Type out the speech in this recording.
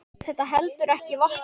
Þetta heldur ekki vatni.